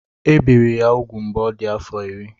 Ebiri ya úgwù mgbe ọ dị afọ iri.